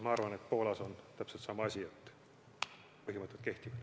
Ma arvan, et Leedus on täpselt sama asi, et põhimõtted kehtivad.